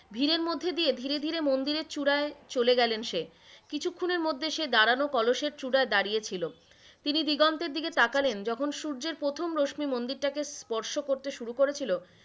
ভিড়ের মধ্যে দিয়ে ধীরে ধীরে মন্দিরের চূড়ায় চলে গেলেন সে, কিছুক্ষণের মধ্যে সে দাড়ানো কলসের চূড়ায় দাড়িয়েছিল। তিনি দিগন্তের দিকে তাকালেন যখন সূর্যের প্রথম রশ্মি মন্দিরটাকে স্পর্শ করতে শুরু করেছিলো,